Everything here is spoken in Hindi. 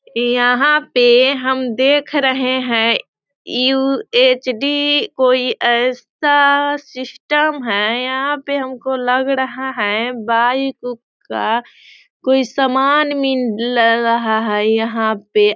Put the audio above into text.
यहाँ पे हम देख रहे हैं यू.एच.डी कोई ऐसा सिस्टम है यहाँ पर हम को लग रहा है बाइक - उक का कोई समान मिल रहा है यहाँ पे।